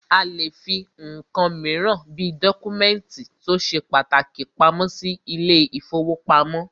A lè fí nǹkan míràn bí dọ́kúmẹ̀ntì tó ṣe pàtàkì pamọ́ sí ilé ìfọwọ́pamo.